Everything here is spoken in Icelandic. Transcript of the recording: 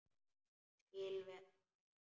Ég skil það vel.